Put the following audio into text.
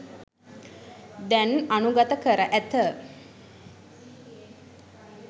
දැන් අනුඟත කර ඇත.